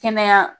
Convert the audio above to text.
Kɛnɛya